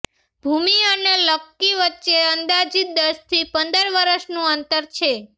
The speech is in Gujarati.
ભુમિ અને લક્કી વચ્ચે અંદાજીત દસથી પંદર વર્ષનું અંતર છે